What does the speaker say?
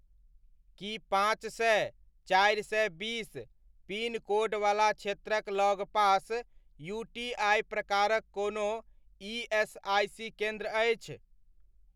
की पाँच सए, चारि सए बीस पिन कोडवला क्षेत्रक लगपास यूटीआइ प्रकारक कोनो ईएसआइसी केन्द्र अछि?